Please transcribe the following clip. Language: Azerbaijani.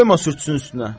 Qoyma sürtsün üstünə.